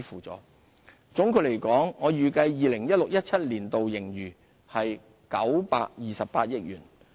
總括來說，我預計 2016-2017 年度盈餘為928億元。